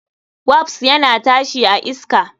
Wasp yana tashi a iska.